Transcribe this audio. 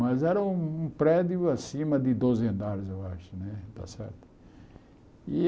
Mas era um um prédio acima de doze andares, eu acho.